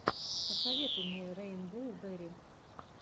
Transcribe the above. посоветуй мне рэйнбоу берри